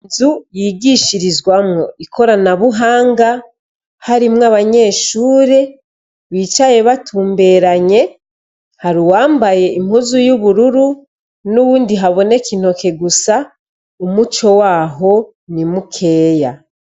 Inzu yigishirizwamwo ikoranabuhanga harimwo abanyeshure bicaye batumberanye hari uwambaye impuzu y' ubururu n' uyundi haboneka intoke gusa umuco waho ni mukeya.